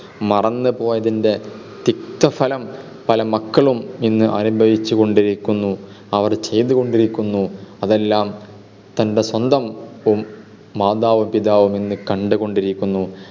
മറന്നുപോയതിൻ്റെ തിക്തഫലം പല മക്കളും ഇന്ന് അനുഭവിച്ചുകൊണ്ടിരിക്കുന്നു. അവർ ചെയ്തുകൊണ്ടിരിക്കുന്നു. അതെല്ലാം തൻ്റെ സ്വന്തം മാതാവും പിതാവും ഇന്ന് കണ്ടുകൊണ്ടിരിക്കുന്നു.